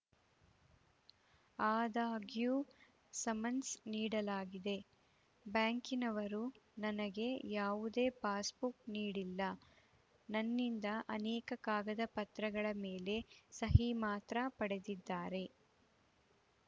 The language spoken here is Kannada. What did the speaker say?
ಆದಾಗ್ಯೂ ಸಮನ್ಸ್‌ ನೀಡಲಾಗಿದೆ ಬ್ಯಾಂಕಿನವರು ನನಗೆ ಯಾವುದೇ ಪಾಸ್‌ಬುಕ್‌ ನೀಡಿಲ್ಲ ನನ್ನಿಂದ ಅನೇಕ ಕಾಗದ ಪತ್ರಗಳ ಮೇಲೆ ಸಹಿ ಮಾತ್ರ ಪಡೆದಿದ್ದಾರೆ